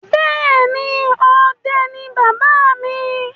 Bẹ́ẹ̀ ni, ọdẹ ni bàbá mi.